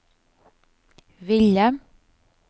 ville